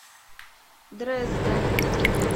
дрезден